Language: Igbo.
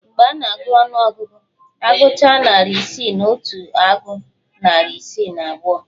Mgbe a na-agụ ọnụọgụ, agụchaa narị isi na otu agụọ narị isi na abụọ